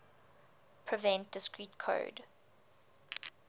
prevent discrete code